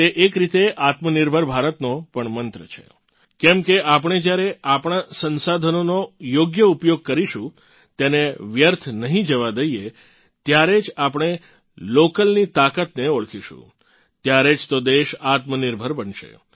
તે એક રીતે આત્મનિર્ભર ભારતનો પણ મંત્ર છે કેમકે આપણે જ્યારે આપણાં સંસાધનોનો યોગ્ય ઉપયોગ કરીશું તેને વ્યર્થ નહીં થવા દઇએ ત્યારે જ આપણે લોકલની તાકાતને ઓળખીશું ત્યારે જ તો દેશ આત્મનિર્ભર બનશે